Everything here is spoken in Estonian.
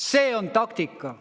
See on taktika.